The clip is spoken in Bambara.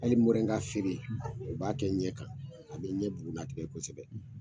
Hali mrɔrɛnga feere u b'a kɛ ɲɛ kan, a bɛ ɲɛ bugunlatigɛ kosɛbɛ.